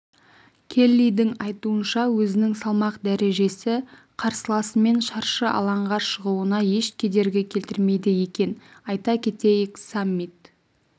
келлидің айтуынша өзінің салмақ дәрежесі қарсыласымен шаршы алаңға шығуына еш кедергі келтірмейді екен айта кетейік саммит